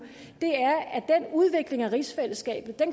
er udvikling af rigsfællesskabet